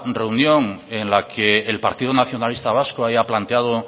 reunión en la que el partido nacionalista vasco haya planteado